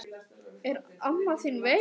Er amma þín veik?